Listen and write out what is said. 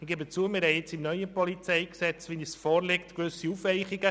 Ich gebe zu, im gegenwärtig vorliegenden, neuen PolG haben wir nun gewisse Aufweichungen.